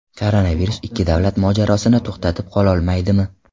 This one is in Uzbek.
Koronavirus ikki davlat mojarosini to‘xtatib qololmaydimi?